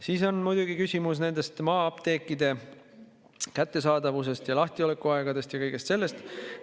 Siis on muidugi küsimus nende maa-apteekide lahtiolekuaegadest ja kõigest sellest.